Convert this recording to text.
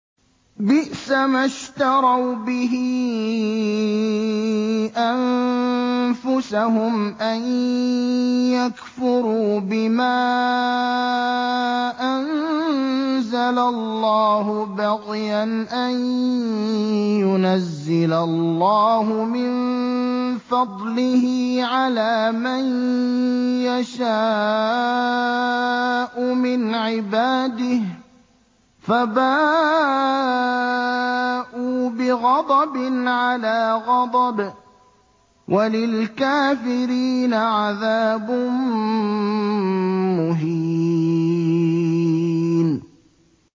بِئْسَمَا اشْتَرَوْا بِهِ أَنفُسَهُمْ أَن يَكْفُرُوا بِمَا أَنزَلَ اللَّهُ بَغْيًا أَن يُنَزِّلَ اللَّهُ مِن فَضْلِهِ عَلَىٰ مَن يَشَاءُ مِنْ عِبَادِهِ ۖ فَبَاءُوا بِغَضَبٍ عَلَىٰ غَضَبٍ ۚ وَلِلْكَافِرِينَ عَذَابٌ مُّهِينٌ